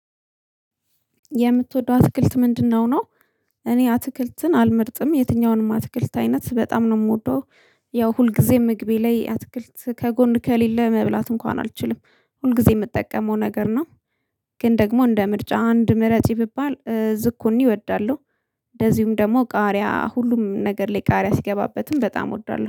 የምትወደው አትክልት ምንድነው ነው? እኔ አትክልትን አልመርጥም የትኛውንም አትክልት አይነት በጣም ነው የምወደው። ያው ሁልጊዜ ምግቤ ላይ አትክልት ከጎን ከሌለ መብላት እንኳን አልችልም ሁልጊዜ የምጠቀመው ነገር ነው። ግን ደግሞ እንደ ምርጫ አንድ ምረጪ ብባል ዝኩኒ እወዳለሁ። እንደዚሁም ደግሞ ቃሪያ ሁሉም ነገር ላይ ቃሪያ ሲገባበትም በጣም እወዳለሁ